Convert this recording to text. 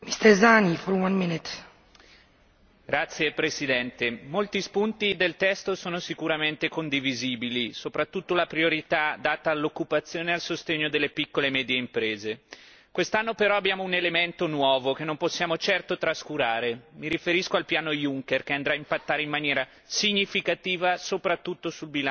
Signora Presidente, onorevoli colleghi, molti punti del testo sono sicuramente condivisibili, soprattutto la priorità data all'occupazione e al sostegno delle piccole e medie imprese. Quest'anno però abbiamo un elemento nuovo che non possiamo certo trascurare mi riferisco al piano Juncker che inciderà in maniera significativa soprattutto sul bilancio europeo.